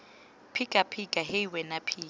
phika phika hei wena phika